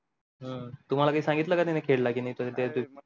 हम्म तुम्हाला काय सांगितल का त्यानी खेडला कि नाही